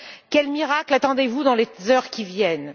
Quel miracle attendez vous dans les heures qui viennent?